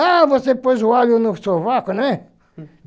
Ah, você pôs o alho no sovaco, né? rum